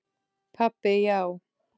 Pabbi, já!